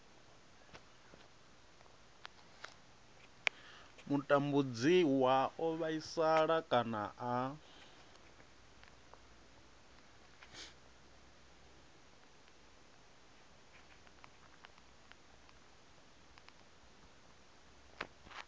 mutambudziwa o vhaisala kana a